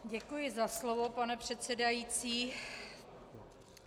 Děkuji za slovo, pane předsedající.